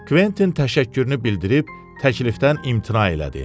Kventin təşəkkürünü bildirib təklifdən imtina elədi.